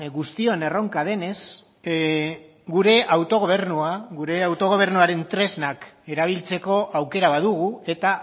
guztion erronka denez gure autogobernua gure autogobernuaren tresnak erabiltzeko aukera badugu eta